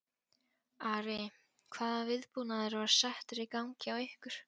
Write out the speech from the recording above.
Ari, hvaða viðbúnaður var settur í gang hjá ykkur?